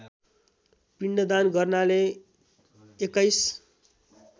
पिण्डदान गर्नाले २१